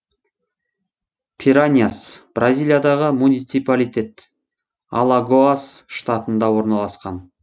пираньяс бразилиядағы муниципалитет алагоас штатында орналасқан